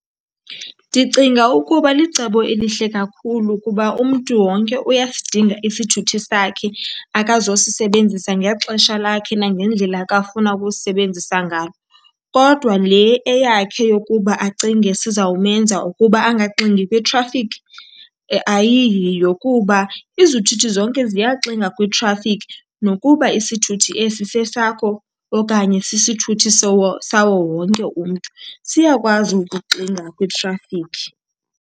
Ndicinga ukuba licebo elihle kakhulu kuba umntu wonke uyasidinga isithuthi sakhe akazosisebenzisa ngexesha lakhe nangendlela akafuna ukusisebenzisa ngalo. Kodwa le eyakhe yokuba acinge sizawumenza ukuba angaxingi kwitrafikhi ayiyiyo kuba izithuthi zonke ziyaxinga kwitrafikhi. Nokuba isithuthi esi sesakho okanye sisithuthi sawo wonke umntu, siyakwazi ukuxinga kwitrafikhi.